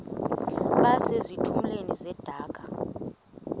base zitulmeni zedaka